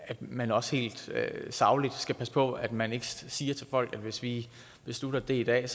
at man også helt sagligt skal passe på at man ikke siger til folk at hvis vi beslutter det i dag